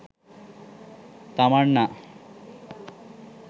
tamanna